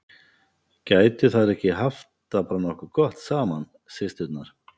Gætu þær ekki haft það bara nokkuð gott saman, systurnar?